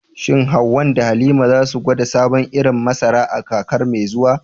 Shin Hawwa da Halima za su gwada sabon irin masara a kakar mai zuwa?